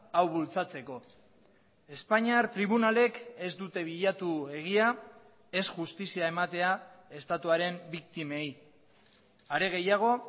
hau bultzatzeko espainiar tribunalek ez dute bilatu egia ez justizia ematea estatuaren biktimei are gehiago